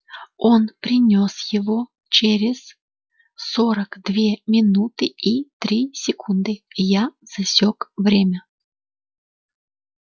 он принёс его через сорок две минуты и три секунды и я засёк время